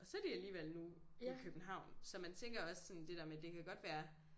Og så de alligevel nu i København så man tænker også sådan det der med det kan godt være